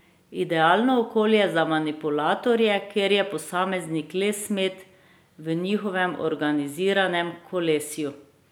Idealno okolje za manipulatorje, kjer je posameznik le smet v njihovem organiziranem kolesju.